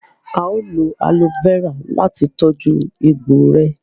Ao lò aloe Vera láti tọjú egbò rẹ